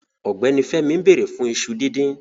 Ọgbẹni Fẹmí n bẹ̀rẹ̀ fun ìṣu dídìn